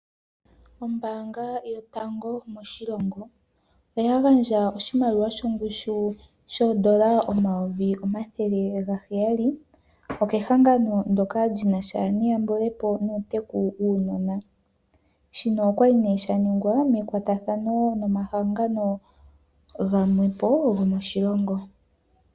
Ombaanga yotango moshilongo oya gandja oshimaliwa shoondola omayovi omathele gaheyali kehango ndyoka linasha nuuteku wuunona. Shino oshali sha ningwa nekwatathano nomahangano gamwe po gomoshilongo.